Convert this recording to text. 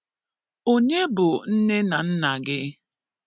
Onye bụ nne na nna gị?